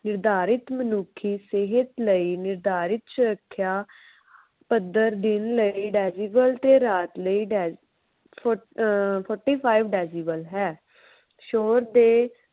ਨਿਰਧਾਰਿਤ ਮਨੁੱਖੀ ਸਿਹਤ ਲਈ ਨਿਰਧਾਰਿਤ ਸੁਰੱਖਿਆ ਪੱਧਰ ਦਿਨ ਲਈ decibel ਤੇ ਰਾਤ ਲਈ ਅਹ forty five ਹੈ। ਸ਼ੋਰ ਦੇ